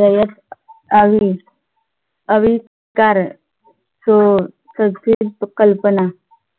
रयत हवी अवि अविष्कार सु संस्कृत कल्पना